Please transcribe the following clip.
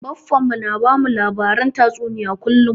Baffan mu na bamu labaren tatsuniya kullum